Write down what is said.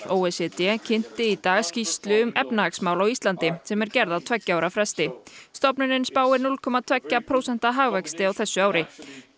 o e c d kynnti í dag skýrslu um efnahagsmál á Íslandi sem er gerð á tveggja ára fresti stofnunin spáir núll komma tveggja prósenta hagvexti á þessu ári